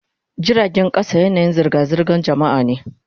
Jiragen kasa yanayin zirga-zirgar jama'a ne.